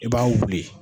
I b'a wuli